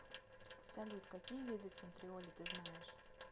салют какие виды центриоли ты знаешь